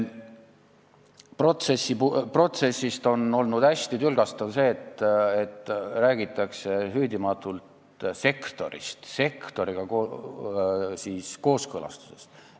Kogu selle protsessi puhul on olnud hästi tülgastav see, et räägitakse süüdimatult sektorist, sektoriga kooskõlastusest.